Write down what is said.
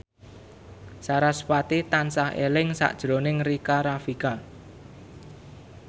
sarasvati tansah eling sakjroning Rika Rafika